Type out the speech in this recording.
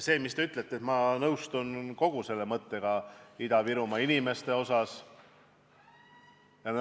Sellega, mis te ütlesite, ma nõustun, ma nõustun kogu selle mõttega Ida-Virumaa inimeste kohta.